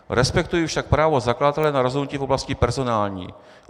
Respektuji však právo zakladatele na rozhodnutí v oblasti personální.